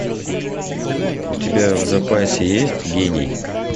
у тебя в запасе есть гений